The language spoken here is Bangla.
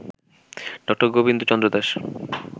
ডা. গোবিন্দ চন্দ্র দাস